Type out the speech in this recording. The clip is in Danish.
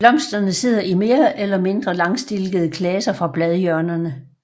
Blomsterne sidder i mere eller mindre langstilkede klaser fra bladhjørnerne